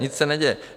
Nic se neděje.